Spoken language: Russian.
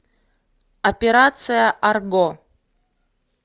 операция арго